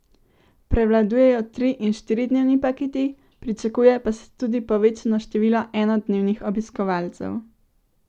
Prevladujejo tri in štiridnevni paketi, pričakuje pa se tudi povečano število enodnevnih obiskovalcev.